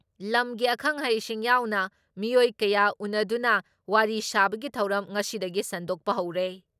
ꯂꯝꯒꯤ ꯑꯈꯪ ꯑꯍꯩꯁꯤꯡ ꯌꯥꯎꯅ ꯃꯤꯑꯣꯏ ꯀꯌꯥ ꯎꯟꯅꯗꯨꯅ ꯋꯥꯔꯤ ꯁꯥꯕꯒꯤ ꯊꯧꯔꯝ ꯉꯁꯤꯗꯒꯤ ꯁꯟꯗꯣꯛꯄ ꯍꯧꯔꯦ ꯫